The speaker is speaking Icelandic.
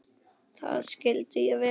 Það skildi ég vel.